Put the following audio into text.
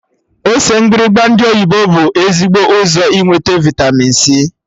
Ose mgbịrịgba ndị oyibo bụ ezigbo ụzọ inweta vịtamin c